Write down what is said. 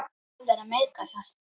Hvað er að meika það?